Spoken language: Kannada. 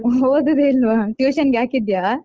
ಓದುದೇ ಇಲ್ವಾ tuition ಗೆ ಹಾಕಿದ್ಯಾ?